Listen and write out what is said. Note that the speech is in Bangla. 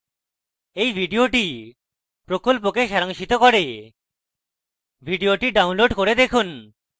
এই video প্রকল্পকে সারাংশিত করে video download করে দেখুন